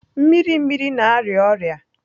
Mmiri mmiri na-arịa ọrịa.